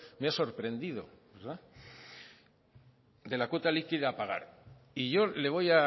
me ha sorprendido de la cuota líquida a pagar y yo le voy